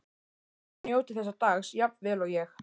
Ég vona þið njótið þessa dags jafn vel og ég.